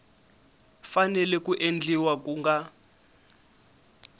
fanele ku endliwa ku nga